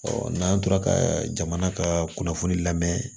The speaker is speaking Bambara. n'an tora ka jamana ka kunnafoni lamɛn